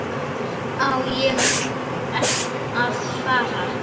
Á ég að fara?